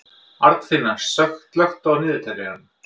Arnfinna, slökktu á niðurteljaranum.